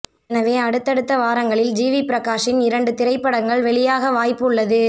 எனவே அடுத்தடுத்த வாரங்களில் ஜிவி பிரகாஷின் இரண்டு திரைப்படங்கள் வெளியாக வாய்ப்பு உள்ளது